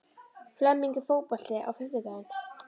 Flemming, er bolti á fimmtudaginn?